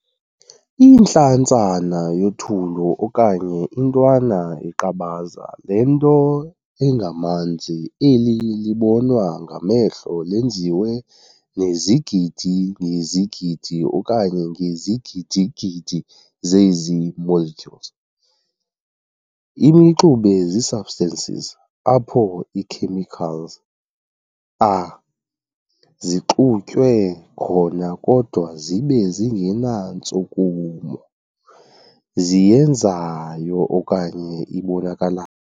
Intlantsana yothulu okanye intwana yeqabaza lento engamanzi eli libonwa ngamehlo lenziwe nezigidi ngezigidi okanye ngezigidigidi zezi molecules. Imixube ziisubstances apho ii-chemicals are zixutywe khona kodwa zibe zingenantshukumo ziyenzayo okanye ibonakala.